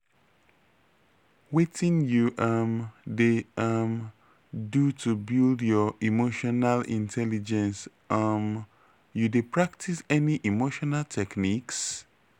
wetin you um dey um do to build your emotional intelligence um you dey practice any emotional techniques?